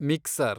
mixer